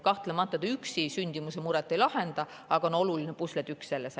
Kahtlemata see üksi sündimuse muret ei lahenda, aga on oluline pusletükk.